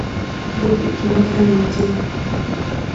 вруби кино хранители